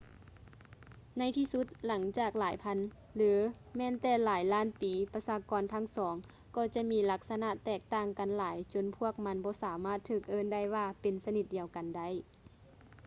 ໃນທີ່ສຸດ ຫຼັງຈາກຫຼາຍພັນ ຫຼື ແມ່ນແຕ່ຫຼາຍລ້ານປີ ປະຊາກອນທັງສອງ ກໍຈະມີລັກສະນະແຕກຕ່າງກັນຫຼາຍຈົນພວກມັນບໍ່ສາມາດຖືກເອີ້ນໄດ້ວ່າເປັນຊະນິດດຽວກັນໄດ້